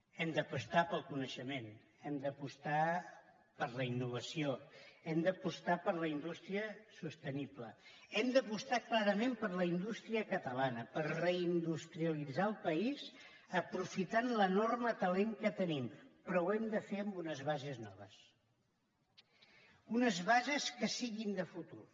hem d’apostar pel coneixement hem d’apostar per la innovació hem d’apostar per la indústria sostenible hem d’apostar clarament per la indústria catalana per reindustrialitzar el país aprofitant l’enorme talent que tenim però ho hem de fer amb unes bases noves unes bases que siguin de futur